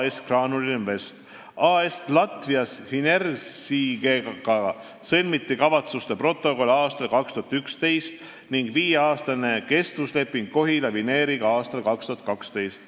AS-iga Latvijas Finieris sõlmiti kavatsuste protokoll aastal 2011 ning viieaastane kestvusleping Kohila Vineeriga aastal 2012.